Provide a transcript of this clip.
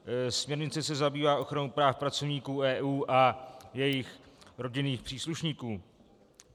Směrnice se zabývá ochranou práv pracovníků EU a jejich rodinný příslušníků.